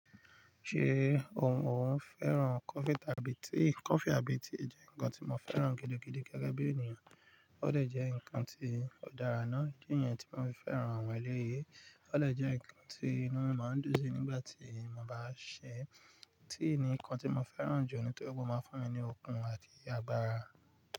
Ṣé òun òun fẹ́ràn coffee tàbí tea? Coffee àbí tea jẹ́ nǹkan tí mo fẹ́ràn gidigidi gẹ́gẹ́ bí ènìyàn. Ó de jẹ́ ǹkan tí ó dára ná. Idi niyẹn tí mo fi fẹ́ràn àwọn eléyi. Ó de jẹ́ ǹkan tí inú máa ń dùn sí nígbà tí mo bá sè é. Tea ni nǹkan tí mo fẹ́ràn jù nítorí pé ó máa ń fún mi ní okun àti agbára.